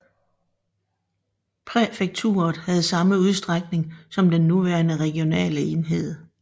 Præfekturet havde samme udstrækning som den nuværende regionale enhed